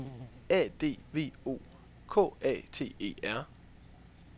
A D V O K A T E R